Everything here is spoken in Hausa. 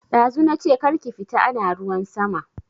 Dazu nache kar ki fita ana ruwan sama